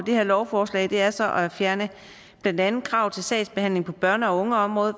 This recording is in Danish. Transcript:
det her lovforslag er så at fjerne blandt andet krav til sagsbehandling på børne og ungeområdet